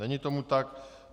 Není tomu tak.